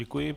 Děkuji.